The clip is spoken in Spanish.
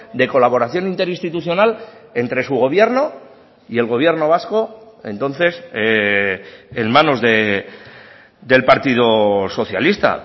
de colaboración interinstitucional entre su gobierno y el gobierno vasco entonces en manos del partido socialista